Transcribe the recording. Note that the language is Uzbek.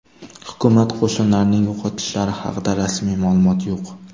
Hukumat qo‘shinlarining yo‘qotishlari haqida rasmiy ma’lumot yo‘q.